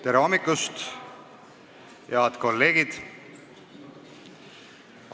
Tere hommikust, head kolleegid!